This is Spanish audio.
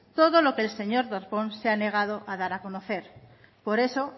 todo lo que el señor darpón se ha negado a dar a conocer por eso